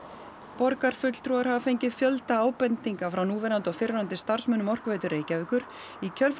borgarfulltrúar hafa fengið fjölda ábendinga frá núverandi og fyrrverandi starfsmönnum Orkuveitu Reykjavíkur í kjölfar